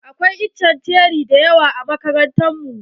Akwai itace na ceri da yawa a makarantar mu.